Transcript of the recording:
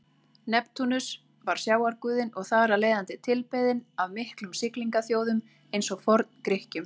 Neptúnus var sjávarguðinn og þar af leiðandi tilbeðinn af miklum siglingaþjóðum eins og Forn-Grikkjum.